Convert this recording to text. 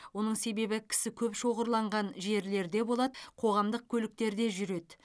оның себебі кісі көп шоғырланған жерлерде болады қоғамдық көліктерде жүреді